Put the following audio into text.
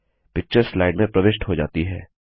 picture slide में प्रविष्ट हो जाती है